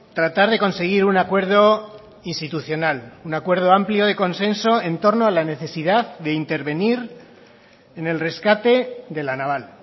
tratar de conseguir un acuerdo institucional un acuerdo amplio de consenso en torno a la necesidad de intervenir en el rescate de la naval